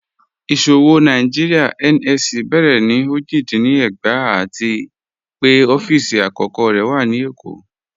Iṣowo Nàìjíríà (NSE) bẹ̀rẹ̀ ni ojì dín ní ẹ̀gbàá àti pẹ̀ ọ̀fíìsì akọ̀kọ̀ rẹ̀ wà ni Ékó.